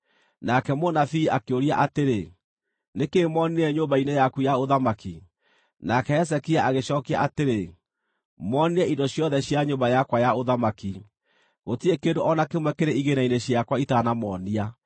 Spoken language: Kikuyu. Nake mũnabii akĩũria atĩrĩ, “Nĩ kĩĩ moonire nyũmba-inĩ yaku ya ũthamaki.” Nake Hezekia agĩcookia atĩrĩ, “Moonire indo ciothe cia nyũmba yakwa ya ũthamaki. Gũtirĩ kĩndũ o na kĩmwe kĩrĩ igĩĩna-inĩ ciakwa itanamoonia.”